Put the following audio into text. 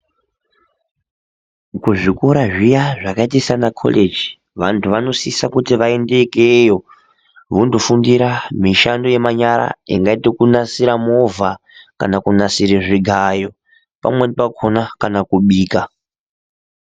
Kuzvikora zviya zvakaite sanakoleji vanthu vanosisa kuti vaende ikeyo vondofundira mishando yemanyara ingaite kunasire movha kana kunasire zvigayo pamweni pakona kana kubika.